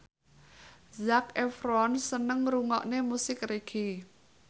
Zac Efron seneng ngrungokne musik reggae